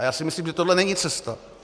A já si myslím, že tohle není cesta.